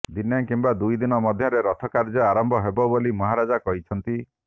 ଦିନେ କିମ୍ବା ଦୁଇ ଦିନ ମଧ୍ୟରେ ରଥକାର୍ଯ୍ୟ ଆରମ୍ଭ ହେବ ବୋଲି ମହାରାଜା କହିଛନ୍ତି